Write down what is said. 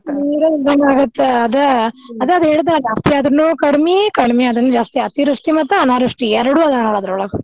ನೀರ್ ಇಲ್ಲದಂಗೆ ಆಗೈತೆ ಅದೆ ಅದೆ ಅದೆ ಹೇಳಿದ್ನಲ್ಲಾ ಜಾಸ್ತಿ ಆದ್ರೂನು ಕಡ್ಮಿ, ಕಡ್ಮಿ ಆದ್ರೂನು ಜಾಸ್ತಿ ಅತಿವೃಷ್ಟಿ ಮತ್ತ್ ಅನಾವೃಷ್ಟಿ ಎರಡು ಆದರ ಅದ್ರೊಳಗ.